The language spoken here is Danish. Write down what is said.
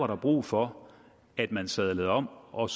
der brug for at man sadler om og